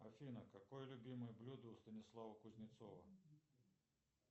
афина какое любимое блюдо у станислава кузнецова